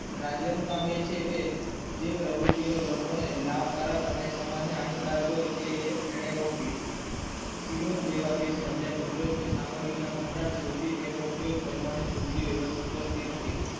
રાજય નું કામ એ છે કે જે પ્રવુતિ લોકો કોને લાભકારક અને સમય હાનિકારક હોય તે એને રોકવી શીલોન જેવા દેશ માં જ્યાં કુદરત ની સામગ્રી ના ભંડાર શોધી તેનો ઉપયોગ કરવાને પૂરતી વ્યવસ્થિત નથી.